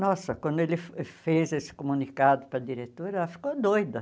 Nossa, quando ele fez esse comunicado para a diretora, ela ficou doida.